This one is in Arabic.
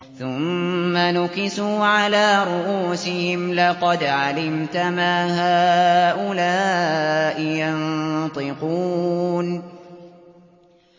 ثُمَّ نُكِسُوا عَلَىٰ رُءُوسِهِمْ لَقَدْ عَلِمْتَ مَا هَٰؤُلَاءِ يَنطِقُونَ